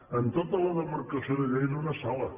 en tota la demarcació de lleida una sala